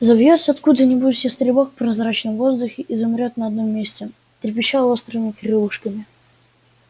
взовьётся откуда-нибудь ястребок в прозрачном воздухе и замрёт на одном месте трепеща острыми крылышками